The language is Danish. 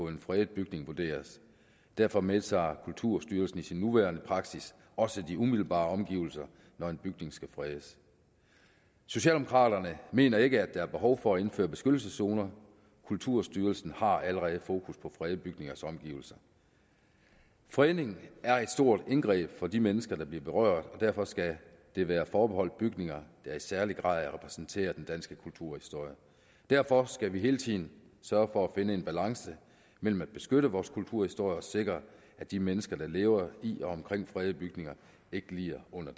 en fredet bygning vurderes derfor medtager kulturstyrelsen i sin nuværende praksis også de umiddelbare omgivelser når en bygning skal fredes socialdemokraterne mener ikke at der er behov for at indføre beskyttelseszoner kulturstyrelsen har allerede fokus på fredede bygningers omgivelser fredning er et stort indgreb for de mennesker der bliver berørt og derfor skal det være forbeholdt bygninger der i særlig grad repræsenterer den danske kulturhistorie derfor skal vi hele tiden sørge for at finde en balance mellem at beskytte vores kulturhistorie og sikre at de mennesker der lever i og omkring fredede bygninger ikke lider under